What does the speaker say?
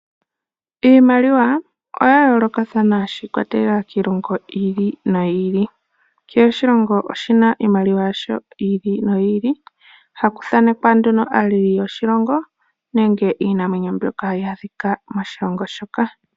Iimaliwa oyayoolokathana shiikwatelela kiilongo yi ili noyi ili, kehe oshilongo oshina iimaliwa yasho yi ili noyi ili haku thanekwa nduno aaleli yoshilongo nenge iinamwenyo ombyoka hayi adhikwa moshilongo shoka.